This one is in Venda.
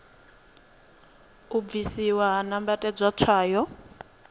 u bvisiwa ha nambatedzwa tswayo